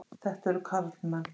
Þetta eru karlmenn.